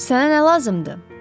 Sənə nə lazımdır?